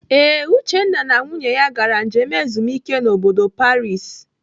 Ee, Uchenna na nwunye ya gara njem ezumike n'bodo Paris.